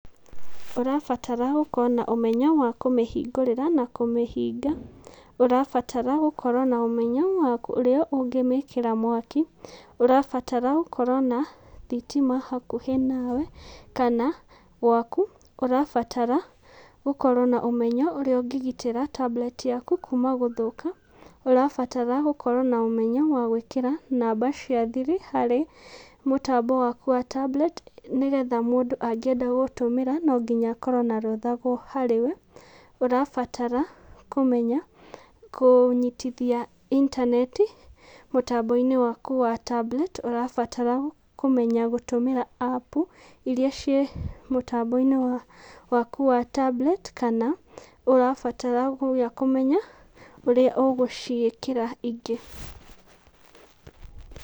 Ũrabatara gũkorwo na ũmenyo wa kũmĩhingũrĩra na kũmĩhinga, ũrabatara gũkorwo na ũmenyo wa ũrĩa ũngĩmĩkĩra mwaki, ũrabatara gũkorwo na thitima hakuhĩ nawe, kana gwaku ũrabatara gũkorwo na ũmenyo ũrĩa ũngĩgitĩra tablet yaku kuma gũthũk,a ũrabatara gũkorwo na ũmenyo wa gwĩkĩra namba cia thiri harĩ mũtambo waku wa tablet nĩgetha mũndũ angĩenda gũtũmĩra no nginya akorwo na rũtha harĩ we, ũrabatara kũmenya kũnyitithia intaneti, mũtambo-inĩ waku wa tablet ũrabatara kũmenya gũtũmĩra app iria ciĩ mũtambo-inĩ waku wa tablet kana ũrabatara nginya kũmenya ũrĩa ũgũciĩkĩra ingĩ.